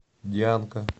дианка